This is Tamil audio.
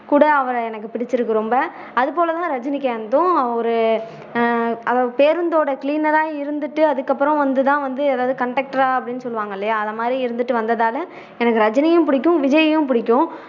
கூட அவரை எனக்கு பிடிச்சுருக்கு ரொம்ப அது போல தான் ரஜினிகாந்தும் அவரு ஆஹ் அவரு பேருந்தோட cleaner ஆ இருந்துட்டு அதுக்கப்பறம் வந்து தான் வந்து அதாவது conductor ஆ அப்படின்னு சொல்லுவாங்கல்லயா அது மாதிரி இருந்துட்டு வந்ததால எனக்கு ரஜினியும் புடிக்கும் விஜயையும் புடிக்கும்